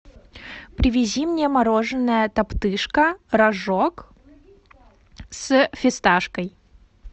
привези мне мороженое топтыжка рожок с фисташкой